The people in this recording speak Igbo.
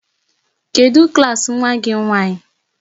Kedụ klaasị nwa gị nwaanyị?